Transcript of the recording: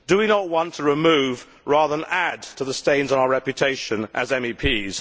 Do we not want to remove, rather than add to, the stains on our reputation as MEPs?